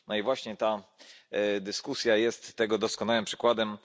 No i właśnie ta dyskusja jest tego doskonałym przykładem.